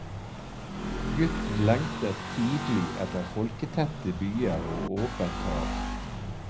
Gutten lengtet tidlig etter folketette byer og åpent hav.